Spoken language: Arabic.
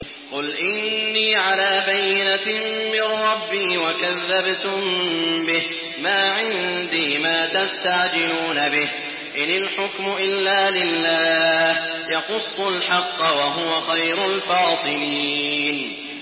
قُلْ إِنِّي عَلَىٰ بَيِّنَةٍ مِّن رَّبِّي وَكَذَّبْتُم بِهِ ۚ مَا عِندِي مَا تَسْتَعْجِلُونَ بِهِ ۚ إِنِ الْحُكْمُ إِلَّا لِلَّهِ ۖ يَقُصُّ الْحَقَّ ۖ وَهُوَ خَيْرُ الْفَاصِلِينَ